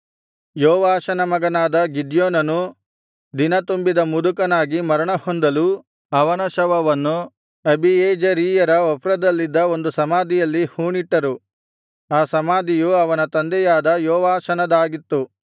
ಯೋವಾಷನ ಮಗನಾದ ಗಿದ್ಯೋನನು ದಿನತುಂಬಿದ ಮುದುಕನಾಗಿ ಮರಣ ಹೊಂದಲು ಅವನ ಶವವನ್ನು ಅಬೀಯೆಜೆರೀಯರ ಒಫ್ರದಲ್ಲಿದ್ದ ಒಂದು ಸಮಾಧಿಯಲ್ಲಿ ಹೂಣಿಟ್ಟರು ಆ ಸಮಾಧಿಯು ಅವನ ತಂದೆಯಾದ ಯೋವಾಷನದಾಗಿತ್ತು